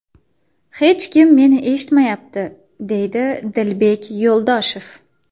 Hech kim meni eshitmayapti, deydi Dilbek Yo‘ldoshev.